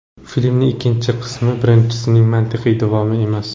Filmning ikkinchi qismi birinchisining mantiqiy davomi emas.